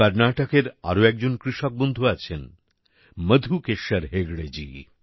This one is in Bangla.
কর্নাটকের আর একজন কৃষক বন্ধু আছেনমধুকেশ্বর হেগড়েজী